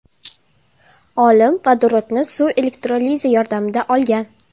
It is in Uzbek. Olim vodorodni suv elektrolizi yordamida olgan.